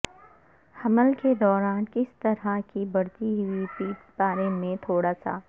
حمل کے دوران کس طرح کی بڑھتی ہوئی پیٹ بارے میں تھوڑا سا